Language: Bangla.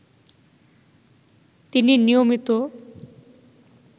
তিনি নিয়মিত